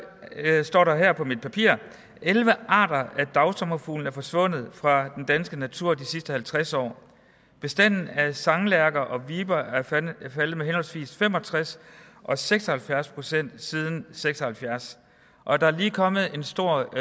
står her på mit papir at elleve arter af dagsommerfugle er forsvundet fra den danske natur i de sidste halvtreds år bestanden af sanglærker og viber er faldet med henholdsvis fem og tres og seks og halvfjerds procent siden seks og halvfjerds og der er lige kommet en stor